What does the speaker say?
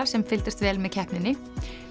sem fylgdust vel með keppninni